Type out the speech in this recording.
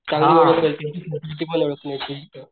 काही